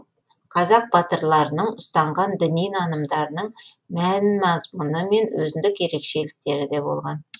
қазақ батырларының ұстанған діни нанымдарының мән мазмұны мен өзіндік ерекшеліктері де болған